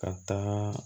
Ka taa